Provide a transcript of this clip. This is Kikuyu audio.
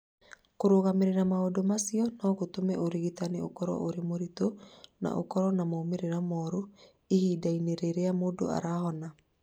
Kũrũgamĩrĩra maũndũ macio no gũtũme ũrigitani ũkorũo ũrĩ mũritũ na ũkorũo na moimĩrĩro moru ihinda-inĩ rĩrĩa mũndũ arahona.